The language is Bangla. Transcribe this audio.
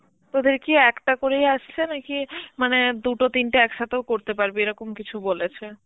তোদের কি একটা করেই আসছে নাকি মানে দুটো তিনটে একসাথেও করতে পারবি এরকম কিছু বলেছে?